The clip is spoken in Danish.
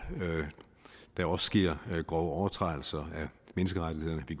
der også sker overtrædelser af menneskerettighederne vi